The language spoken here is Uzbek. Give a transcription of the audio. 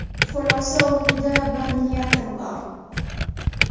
Xulosa o‘rnida bir niyatim bor.